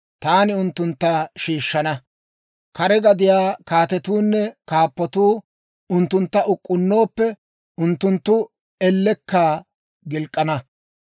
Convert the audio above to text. Taani unttuntta shiishshana. Kare gadiyaa kaatetuunne kaappatuu unttuntta uk'k'unnooppe, unttunttu ellekka gilk'k'ana.